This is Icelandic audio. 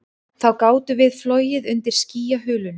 Þá gátum við flogið undir skýjahulunni